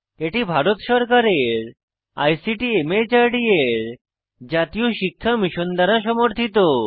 এটি ভারত সরকারের আইসিটি মাহর্দ এর জাতীয় শিক্ষা মিশন দ্বারা সমর্থিত